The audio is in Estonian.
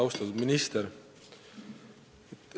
Austatud minister!